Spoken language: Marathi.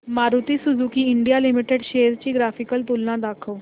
Maruti Suzuki India limited shares ची ग्राफिकल तुलना दाखव